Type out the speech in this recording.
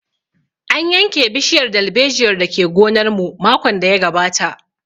An yanke bishiyar dalbejiyar da ke gonar mu makon da ya gabata